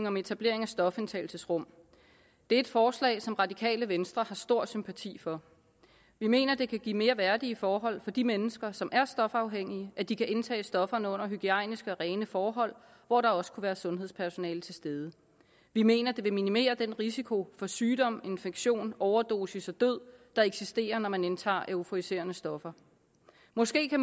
om etablering af stofindtagelsesrum det er et forslag som radikale venstre har stor sympati for vi mener at det kan give mere værdige forhold for de mennesker som er stofafhængige at de kan indtage stofferne under hygiejniske og rene forhold hvor der også kunne være sundhedspersonale til stede vi mener at det vil minimere den risiko for sygdom infektion overdosis og død der eksisterer når man indtager euforiserende stoffer måske